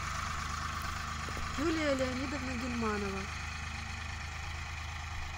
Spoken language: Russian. юлия леонидовна гильманова